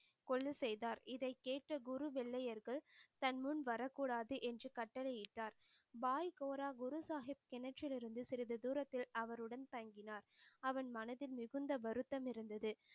கொள்ளுசெய்தார் இதைக் கேட்ட குரு வெள்ளையர்கள் தன் முன் வரக் கூடாது என்று கட்டளை இட்டார் பாய் கோரா குரு சாஹிப் கிணற்றில் இருந்து சிறிது தூரத்தில் அவருடன் தங்கினார். அவன் மனதில் மிகுந்த வருத்தம் இருந்தது